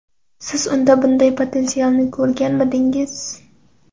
Siz unda bunday potensialni ko‘rganmidingiz?